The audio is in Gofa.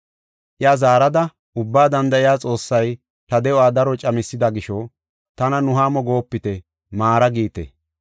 Iya zaarada ubba danda7iya Xoossay ta de7uwa daro camethida gisho, “Tana Nuhaamo goopite; ‘Maara’ giite.